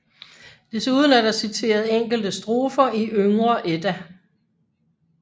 Desuden er der citeret enkelte strofer i Yngre Edda